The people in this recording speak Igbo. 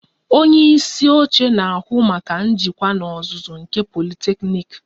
Ọnye isi oche na-ahụ maka njikwa n'ozuzu nke politeknik